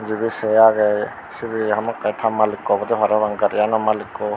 mujedi se aage sibe hamakai ta maliko obode parapang garigano malikko.